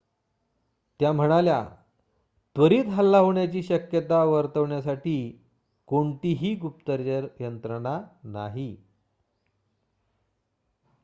त्या म्हणाल्या त्वरित हल्ला होण्याची शक्यता वर्तवण्यासाठी कोणतीही गुप्तचर यंत्रणा नाही